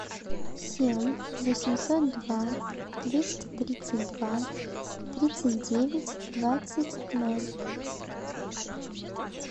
семь восемьсот два двести тридцать два тридцать девять двадцать ноль